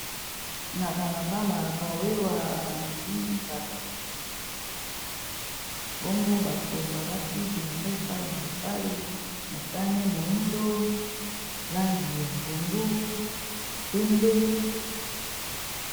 na balabala bawewa bamemi bato bongo bato balati bilamba epai na epai motane moindo langi ya pondu pembe